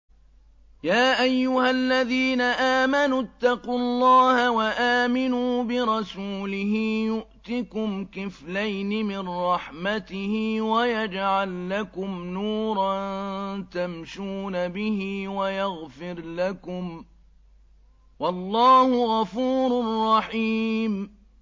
يَا أَيُّهَا الَّذِينَ آمَنُوا اتَّقُوا اللَّهَ وَآمِنُوا بِرَسُولِهِ يُؤْتِكُمْ كِفْلَيْنِ مِن رَّحْمَتِهِ وَيَجْعَل لَّكُمْ نُورًا تَمْشُونَ بِهِ وَيَغْفِرْ لَكُمْ ۚ وَاللَّهُ غَفُورٌ رَّحِيمٌ